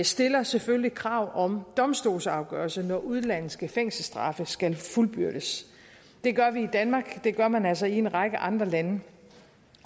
stiller selvfølgelig krav om domstolsafgørelse når udenlandske fængselsstraffe skal fuldbyrdes det gør vi i danmark og det gør man altså også i en række andre lande